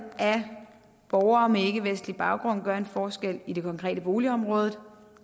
af borgere med ikkevestlig baggrund gør en forskel i det konkrete boligområde